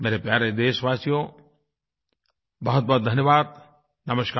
मेरे प्यारे देशवासियो बहुतबहुत धन्यवाद नमस्कार